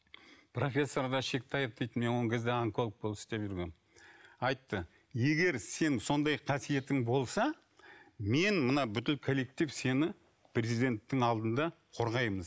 профессор мен ол кезде онколог болып істеп жүргенмін айтты егер сен сондай қасиетің болса мен мына бүкіл коллектив сені президенттің алдында қорғаймыз